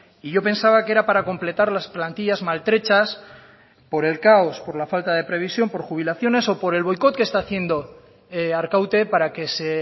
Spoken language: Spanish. y yo pensaba que era para completar las plantillas maltrechas por el caos por la falta de previsión por jubilaciones o por el boicot que está haciendo arkaute para que se